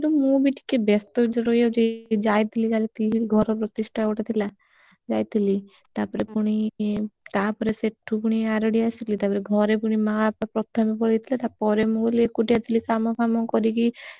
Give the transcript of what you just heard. ମୁଁ ବି ଟିକେ ବ୍ୟସ୍ତ ଭିତରେ ରହିଯାଉଛି ଏଇ ଯାଇଥିଲି ଖାଲି ଘର ପ୍ରତିଷ୍ଠା ଗୋଟେ ଥିଲା ଯାଇଥିଲି ତାପରେ ପୁଣି ତାପରେ ସେଠୁ ପୁଣି ଆରଡି ଆସିଲି ତାପରେ ଘରେ ପୁଣି ତାପରେ ମାଆ ବାପା ପ୍ରଥା କୁ ପଳେଇଥିଲେ ତାପରେ ମୁଁ ପୁଣି ଏକୁଟିଆ ଥିଲି କାମ ଫାମ କରିକି,